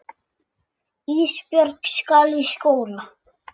Ísbjörg skal í skóla.